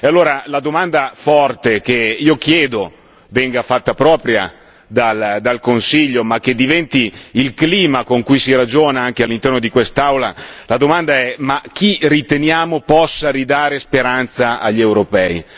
Allora, la domanda forte che io chiedo, venga fatta propria dal Consiglio, ma che diventi il clima con cui si ragiona anche all'interno di quest'Aula, la domanda è ma chi riteniamo possa ridare speranza agli europei?